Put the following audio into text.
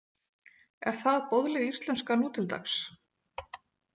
Er það boðleg íslenska nú til dags?